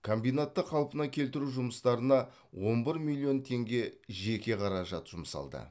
комбинатты қалпына келтіру жұмыстарына он бір миллион теңге жеке қаражат жұмсалды